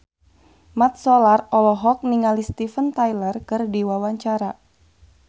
Mat Solar olohok ningali Steven Tyler keur diwawancara